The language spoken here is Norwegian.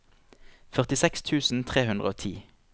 førtiseks tusen tre hundre og ti